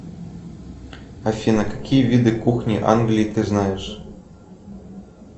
афина какие виды кухни англии ты знаешь